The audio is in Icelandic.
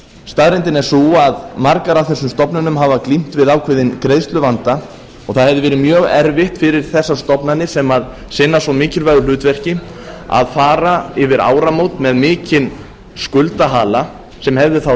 staðreyndin er sú að margar af þessum stofnunum hafa glímt við ákveðinn greiðsluvanda og það hefði verið mjög erfitt fyrir þessar stofnanir sem sinna svo mikilvægu hlutverki að fara yfir áramót með mikinn skuldahala sem hefðu á